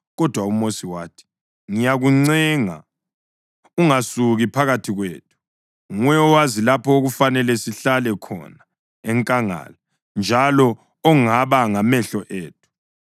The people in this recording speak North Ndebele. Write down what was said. Kodwa uMosi wathi, “Ngiyakuncenga ungasuki phakathi kwethu. Nguwe owazi lapha okufanele sihlale khona enkangala, njalo ongaba ngamehlo ethu.